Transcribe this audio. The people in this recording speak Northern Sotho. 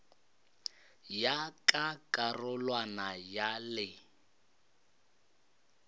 ya ka karolwana ya le